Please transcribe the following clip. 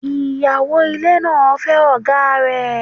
Ìyàwó ilé náà ń fẹ́ ọ̀gáa rẹ̀.